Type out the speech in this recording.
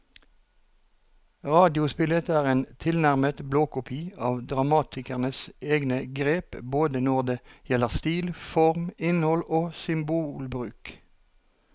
Radiospillet er en tilnærmet blåkopi av dramatikerens egne grep både når det gjelder stil, form, innhold og symbolbruk.